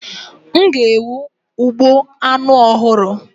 M ga-ewu m ugbo anu ohuru